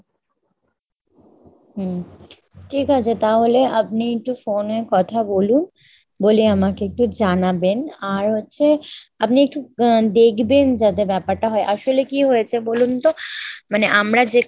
হম ঠিক আছে তাহলে আপনি একটু phone এ কথা বলুন, বলে আমাকে একটু জানাবেন। আর হচ্ছে আপনি একটু দেখবেন যাতে ব্যাপারটা হয়, আসলে কী হয়েছে বলুন তো মানে আমরা যেখানে